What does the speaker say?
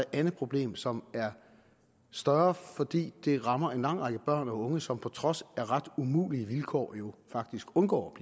andet problem som er større fordi det rammer en lang række børn og unge som på trods af ret umulige vilkår jo faktisk undgår